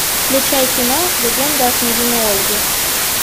включай кино легенда о княгине ольге